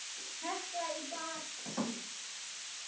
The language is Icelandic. Hekla í baksýn.